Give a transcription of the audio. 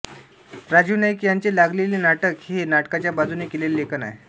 राजीव नाईक ह्याचे लागलेली नाटकं हे नाटकाच्या बाजूने केलेले लेखन आहे